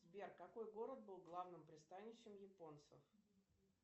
сбер какой город был главным пристанищем японцев